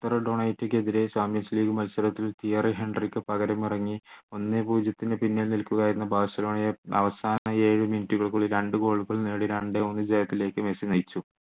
ക്കെതിരെ champions league മത്സരത്തിൽ Thierry ഹെൻറിക്ക് പകരം ഇറങ്ങി ഒന്നേ പൂജ്യത്തിന് പിന്നിൽ നിൽക്കുക എന്ന ബാഴ്സലോണയെ അവസാന ഏഴ് minute കൾക്കുള്ളിൽ രണ്ടു goal കൾ നേടി രണ്ടേ ഒന്ന് വിജയത്തിലേക്ക് മെസ്സി നയിച്ചു